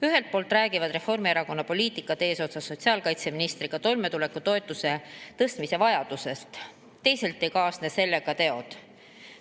Ühelt poolt räägivad Reformierakonna poliitikud eesotsas sotsiaalkaitseministriga toimetulekutoetuse tõstmise vajadusest, teisalt ei kaasne sellega teod.